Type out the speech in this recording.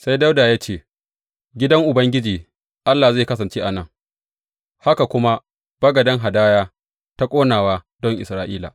Sai Dawuda ya ce, Gidan Ubangiji Allah zai kasance a nan, haka kuma bagaden hadaya ta ƙonawa don Isra’ila.